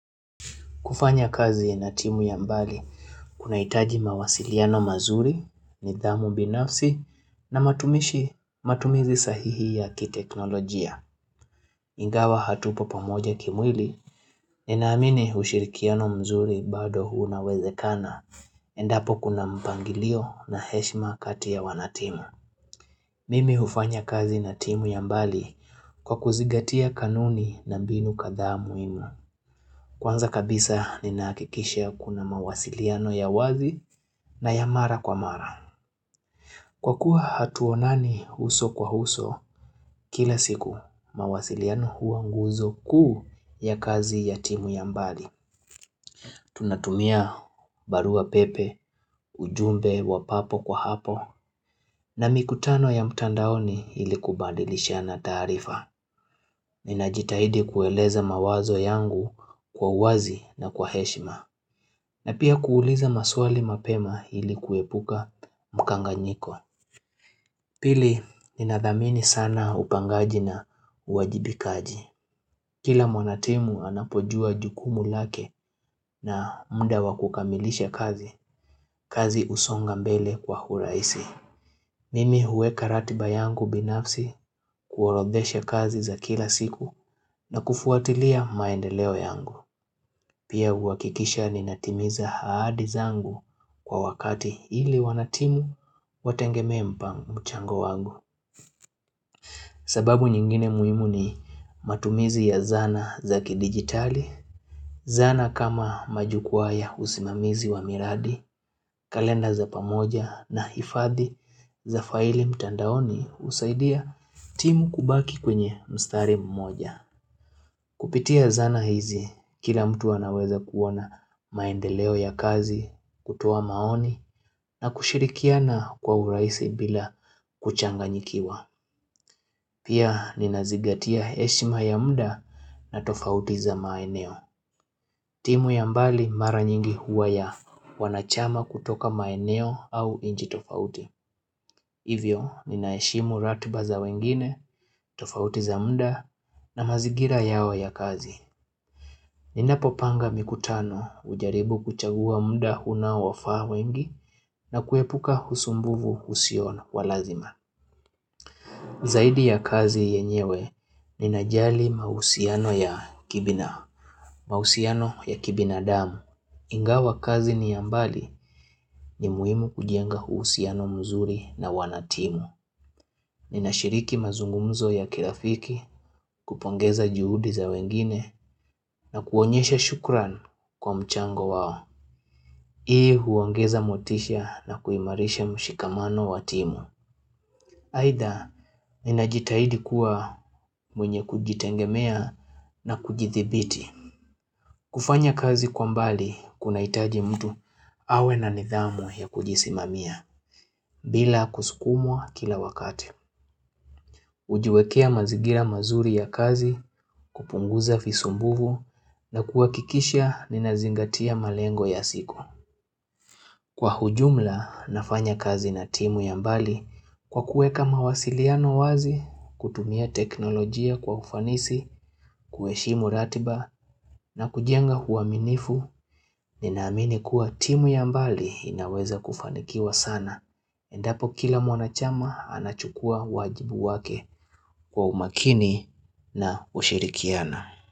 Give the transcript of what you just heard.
Kufanya kazi ya na timu ya mbali, kunahitaji mawasiliano mazuri nidhamu binafsi na matumishi matumizi sahihi ya kiteknolojia. Ingawa hatupo pamoja kimwili, ninaamini ushirikiano mzuri bado unawezekana, endapo kuna mpangilio na heshma kati ya wanatimu. Mimi hufanya kazi na timu ya mbali kwa kuzingatia kanuni na mbinu kadhaa muhimu. Kwanza kabisa ninahakikisha kuna mawasiliano ya wazi na ya mara kwa mara. Kwa kuwa hatuonani uso kwa uso, kila siku mawasiliano hua nguzo kuu ya kazi ya timu ya mbali. Tunatumia barua pepe, ujumbe wa papo kwa hapo, na mikutano ya mtandaoni ili kubadilishana taarifa. Ninajitahidi kueleza mawazo yangu kwa uwazi na kwa heshima. Na pia kuuliza maswali mapema ili kuepuka mkanganyiko. Pili, ninathamini sana upangaji na uwajibikaji. Kila mwanatimu anapojua jukumu lake na muda wa kukamilisha kazi, kazi husonga mbele kwa urahisi. Mimi hueka ratiba yangu binafsi kuorodhesha kazi za kila siku na kufuatilia maendeleo yangu. Pia huhakikisha ninatimiza ahadi zangu kwa wakati ili wanatimu wategemee mpangu mchango wangu. Sababu nyingine muhimu ni matumizi ya zana za kidigitali, zana kama majukwaa ya usimamizi wa miradi, kalenda za pamoja na hifadhi za faili mtandaoni husaidia timu kubaki kwenye mstari mmoja. Kupitia zana hizi, kila mtu anaweza kuona maendeleo ya kazi, kutuo maoni, na kushirikiana kwa urahisi bila kuchanganyikiwa. Pia ninazingatia heshima ya muda na tofauti za maeneo. Timu ya mbali mara nyingi huwa ya wanachama kutoka maeneo au nchi tofauti. Hivyo, ninaheshimu ratiba za wengine, tofauti za muda na mazingira yao ya kazi. Ninapo panga mikutano hujaribu kuchagua muda unaowafaa wengi na kuepuka usumbufu usio wa lazima. Zaidi ya kazi yenyewe, ninajali mahusiano ya kibinadamu. Ingawa kazi ni ya mbali ni muhimu kujenga uhusiano mzuri na wanatimu. Ninashiriki mazungumzo ya kirafiki kupongeza juhudi za wengine na kuonyesha shukran kwa mchango wao. Hii huongeza motisha na kuimarisha mshikamano wa timu. Aidha, ninajitahidi kuwa mwenye kujitegemea na kujithibiti. Kufanya kazi kwa mbali, kunahitaji mtu awe na nidhamu ya kujisimamia, bila kusukumwa kila wakati. Hujiwekea mazingira mazuri ya kazi, kupunguza visumbuvu, na kuhakikisha ninazingatia malengo ya siku. Kwa ujumla, nafanya kazi na timu ya mbali kwa kueka mawasiliano wazi, kutumia teknolojia kwa ufanisi, kuheshimu ratiba na kujenga uaminifu, ninaamini kuwa timu ya mbali inaweza kufanikiwa sana. Endapo kila mwanachama anachukua wajibu wake kwa umakini na ushirikiana.